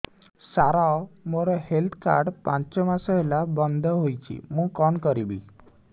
ସାର ମୋର health card ପାଞ୍ଚ ମାସ ହେଲା ବଂଦ ହୋଇଛି ମୁଁ କଣ କରିବି